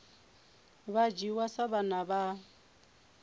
vha dzhiwa sa vhana vha